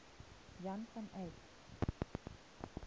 jan van eyck